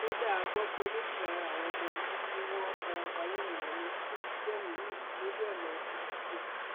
kódà a gbọ pé méjì lára àwọn ọmọ yìí tí wọn farapa yánnayànna tún ti gbẹmí mi lójúọnà ọsibítù